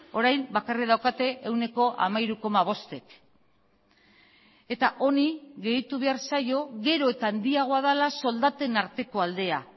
orain bakarrik daukate ehuneko hamairu koma bostek eta honi gehitu behar zaio gero eta handiagoa dela soldaten arteko aldea